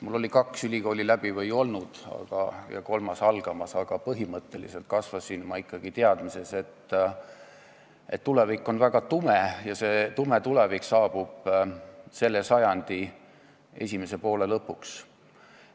Mul oli kaks ülikooli läbi ja kolmandas õpe algamas, aga põhimõtteliselt kasvasin ma ikkagi teadmises, et tulevik on väga tume ja see tume tulevik saabub selle sajandi esimese poole lõpuks.